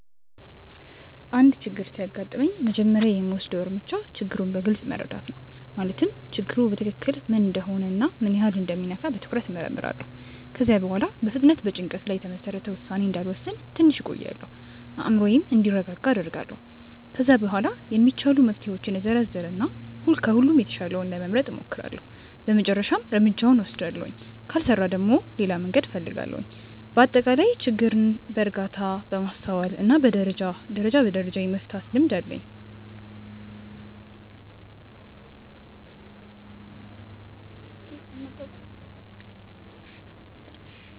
አንድ ችግር ሲያጋጥመኝ መጀመሪያ የምወስደው እርምጃ ችግሩን በግልጽ መረዳት ነው። ማለትም ችግሩ በትክክል ምን እንደሆነ እና ምን ያህል እንደሚነካ በትኩረት እመርምራለሁ። ከዚያ በኋላ በፍጥነት በጭንቀት ላይ የተመሰረተ ውሳኔ እንዳልወስን ትንሽ እቆያለሁ፤ አእምሮዬም እንዲረጋጋ አደርጋለሁ። ከዚያ በኋላ የሚቻሉ መፍትሄዎችን እዘረዝር እና ከሁሉም የተሻለውን ለመምረጥ እሞክራለሁ በመጨረሻም እርምጃውን እወስዳለሁ። ካልሰራ ደግሞ ሌላ መንገድ እፈልጋለሁ። በአጠቃላይ ችግርን በእርጋታ፣ በማስተዋል እና ደረጃ በደረጃ የመፍታት ልምድ አለኝ።